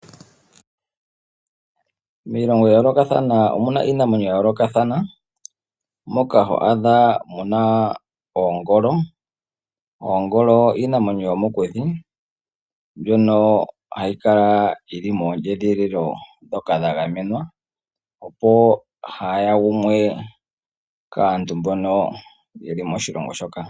Miilongo ya yoolokathana omu na iinamwenyo ya yoolokathana, moka ho adha mu na oongolo. Oongolo iinamwenyo yomokuti mbyono hayi kala yi li moondjedhililo ndhoka dha gamenwa, opo kaa yi gumwe kaantu mbono ye li moshilongo shoka.